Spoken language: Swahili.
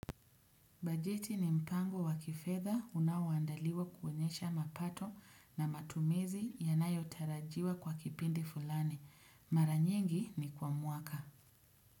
Bajeti ni mpango wakifedha unaoandaliwa kuoenyesha mapato na matumizi yanayo tarajiwa kwa kipindi fulani. Maranyingi ni kwa mwaka.